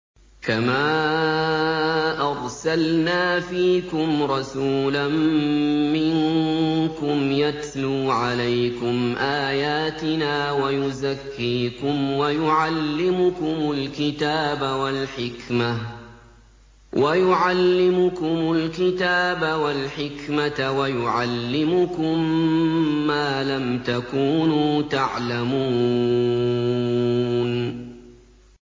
كَمَا أَرْسَلْنَا فِيكُمْ رَسُولًا مِّنكُمْ يَتْلُو عَلَيْكُمْ آيَاتِنَا وَيُزَكِّيكُمْ وَيُعَلِّمُكُمُ الْكِتَابَ وَالْحِكْمَةَ وَيُعَلِّمُكُم مَّا لَمْ تَكُونُوا تَعْلَمُونَ